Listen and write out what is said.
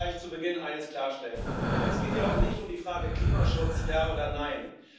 Lassen Sie mich gleich zu Beginn eines klarstellen Es geht hier heute nicht um die Frage Klimaschutz ja oder nein.